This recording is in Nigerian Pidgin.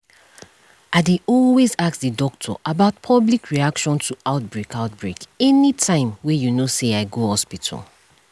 i dey always ask the doctor about public reaction to outbreak outbreak anytym wey you know say i go hospital